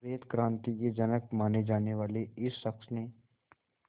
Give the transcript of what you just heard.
श्वेत क्रांति के जनक माने जाने वाले इस शख्स ने